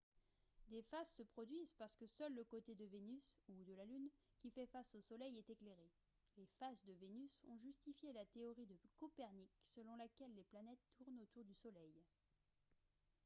des phases se produisent parce que seul le côté de vénus ou de la lune qui fait face au soleil est éclairé. les phases de vénus ont justifié la théorie de copernic selon laquelle les planètes tournent autour du soleil